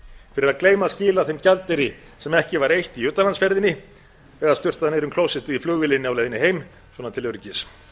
fyrir að gleyma að skila þeim gjaldeyri sem ekki var eytt í utanlandsferðinni eða sturtað niður um klósettið í flugvélinni á leiðinni heim svona til öryggis